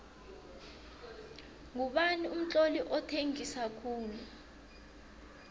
ngubani umtloli othengisa khulu